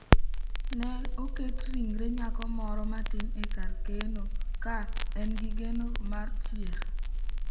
Ne oket ringre nyako moro matin e kar keno ka en gi geno mar 'chier'